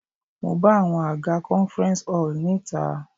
Mo bá àwọn àga conference hall ní ìta.